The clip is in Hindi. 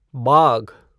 बाघ